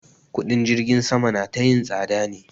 Kuɗin jirgin sama na ta yin tsada ne.